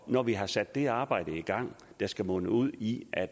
når vi har sat det arbejde i gang der skal munde ud i at